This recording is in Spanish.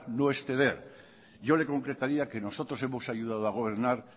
no es ceder yo le concretaría que nosotros hemos ayudado a gobernar